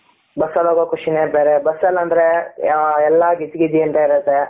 bus ಅಲ್ಲಿ ಹೋಗೋ ಖುಷಿ ನೆ ಬೇರೆ ಬಸ್ ಅಲ್ಲಿ ಅಂದ್ರೆ ಎಲ್ಲ ಗಿಜಿ ಗಿಜಿ ಅಂತ ಇರುತೆ ,